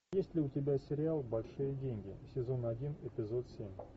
есть ли у тебя сериал большие деньги сезон один эпизод семь